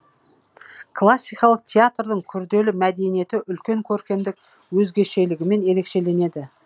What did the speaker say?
классикалық театрдың күрделі мәдениеті үлкен көркемдік өзгешелігімен ерекшеленеді